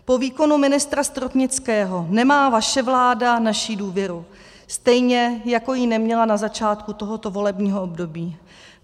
Po výkonu ministra Stropnického nemá vaše vláda naši důvěru, stejně jako ji neměla na začátku tohoto volebního období.